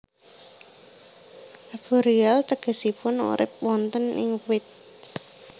Arboreal tegesipun urip wonten ing wit